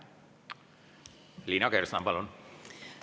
Liina Kersna, palun!